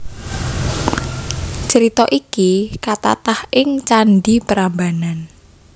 Crita iki katatah ing Candhi Prambanan